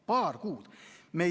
Paar kuud!